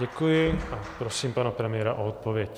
Děkuji a prosím pana premiéra o odpověď.